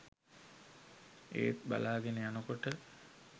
ඒත් බලාගෙන යනකොට